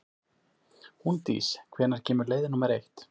Húndís, hvenær kemur leið númer eitt?